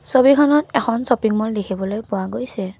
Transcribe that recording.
ছবিখনত এখন shopping mall দেখিবলৈ পোৱা গৈছে।